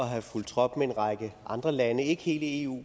have fulgt trop med en række andre lande ikke hele eu